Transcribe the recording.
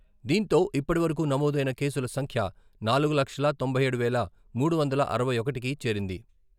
దీంతో ఇప్పటివరకు నమోదైన కేసుల సంఖ్య నాలుగు లక్షల తొంభై ఏడు వేల మూడు వందల అరవై ఒకటికి చేరింది.